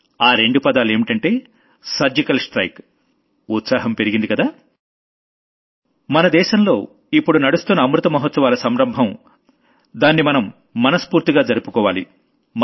ఆ రెండు పదాలేంటంటే సర్జికల్ స్ట్రైక్ ఉత్సాహం పెరిగిందికదా మన దేశంలో ఇప్పుడు నడుస్తున్న అమృత మహాత్సవాల సంరంభం దాన్ని మనం మనస్ఫూర్తిగా సెలబ్రేట్ చేసుకోవాలి